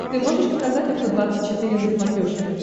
ты можешь показать авто двадцать четыре на смотрешке